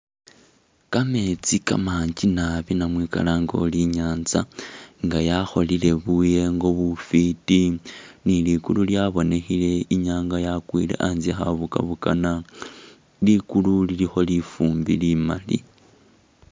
Kametsi kamanji naabi namwe kalange ori i'nyanza nga yakholile buyengo bufiti ni ligulu lyabonekhele, inyanga yakwile, a'ntse khabukabukana, ligulu lilikho lifumbi limaali